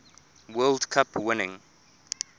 world cup winning